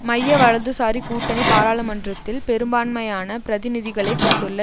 மையவலதுசாரி கூட்டணி பாராளுமன்றத்தில் பெரும்பான்மையான பிரதிநிதிகளைக் கொண்டுள்ள